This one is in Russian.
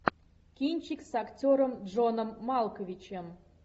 кинчик с актером джоном малковичем